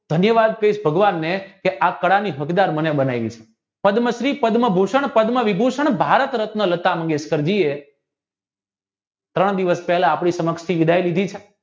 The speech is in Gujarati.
ધન્યવાદ છે એ ભગવાનને કે આ કળા ની હકદાર મને બનાવી છે પદ્મશ્રી પદ્મભૂષણ પદ્મવિભૂષણ ભારત રત્ન લતા મંગેશકરજી ત્રણ દિવસ પહેલા આપણા સમક્ષથી વિદાય લીધી છે